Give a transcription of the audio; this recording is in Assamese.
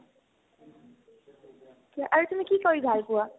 আৰু তুমি কি কৰি ভাল পোৱা ?